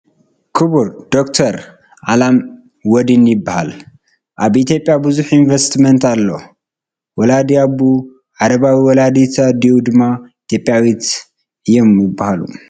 ክቡር ዶ/ር ዓላም ወዲን ይበሃል፡ ኣብ ኢ/ያ ብዙሕ ኢንበስትመንት ኣለዎ ወላዲ ኣቡኡ ዓረባዊ ወላዲት ኣዲኡ ድማ ኢ/ያዊት እዩም ይበሃሉ ።